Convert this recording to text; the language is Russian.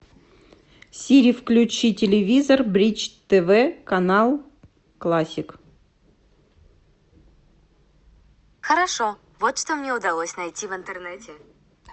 сири включи телевизор бридж тв канал классик